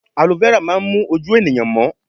Alo fẹ́rà máa ń mú ojú ènìyàn mọ́